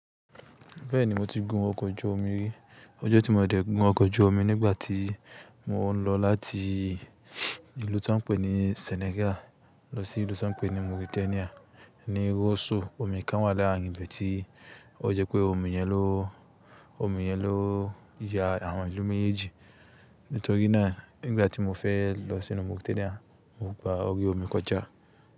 Bẹ́ẹ̀ni mo ti gun ọkọ̀ ojú omi rí. Ọjọ́ tí mo dẹ̀ gun ọkọ̀ ojú omi nígbà tí mò ń lọ láti ìlú tó ń pé ní Senegal lọ sí ìlú tó ń pé ní Mauritania ni róso omi kan wà láàrín ibi tí ó jẹ́ pé omi yẹn ló, omi yẹn ló ya àwọn ìlú méjèèjì. Nítorí náà nígbà tí mo fẹ́ lọ sí ìlú Mauritania mo gba orí omi kọjá.